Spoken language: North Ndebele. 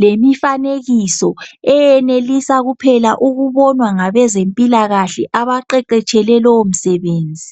lemifanekiso eyenelisa kuphela ukubonwa ngabezempilakahle abaqeqetshele lowo msebenzi.